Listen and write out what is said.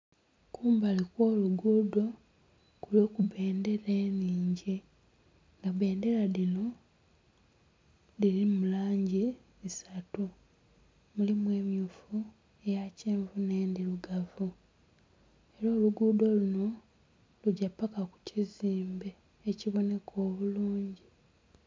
Kumbali okw'oluguudo kuliku bbendhera enhingi nga bbendhera dhino dhirimu langi isatu mulimu emmyufu, eya kyenvu n'endhirugavu era oluguudo luno lugya paka kukizimbe ekiboneka obulungi.